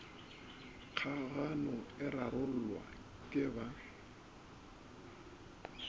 kgagano e rarollwa ke ba